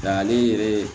Nga ale yɛrɛ